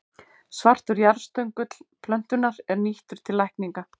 Svartur jarðstöngull plöntunnar er nýttur til lækninga.